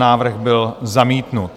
Návrh byl zamítnut.